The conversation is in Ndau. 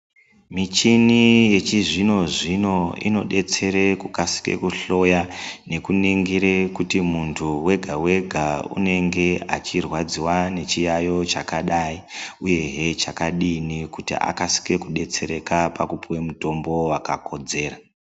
Michini yechizvino zvino inodetsere kukasika kuhloya nekuningire kuti muntu wega wega unenge achirwadziwa nechiyayo chakadai uyehe chakadini kuti akasike kudetsereka pakupuwe mutombo wakakodzera.